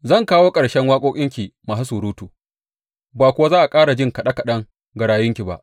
Zan kawo ƙarshen waƙoƙinki masu surutu, ba kuwa za a ƙara jin kaɗe kaɗen garayunki ba.